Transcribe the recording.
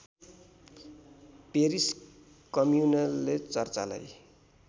Paris कम्युनले चर्चलाई